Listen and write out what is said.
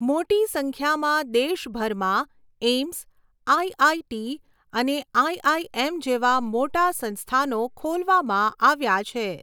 મોટી સંખ્યામાં દેશભરમાં એઇમ્સ, આઈઆઈટી અને આઇઆઇએમ જેવા મોટા સંસ્થાનો ખોલવામાં આવ્યા છે.